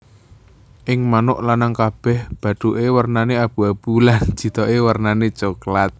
Ing manuk lanang bathuke wernane abu abu lan jithoke wernane coklat